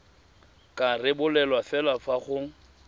ka rebolwa fela fa go